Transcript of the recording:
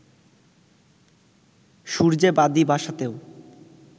সূর্যে বাঁধি বাসাতেও